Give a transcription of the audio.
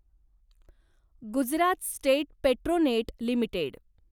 Gujarat state Petronet limited